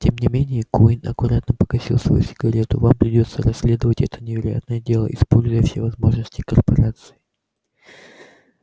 тем не менее куинн аккуратно погасил свою сигарету вам придётся расследовать это невероятное дело используя все возможности корпорации